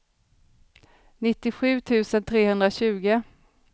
nittiosju tusen trehundratjugo